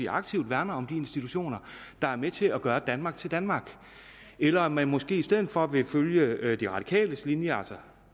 aktivt værner om de institutioner der er med til at gøre danmark til danmark eller om man måske i stedet for vil følge de radikales linje altså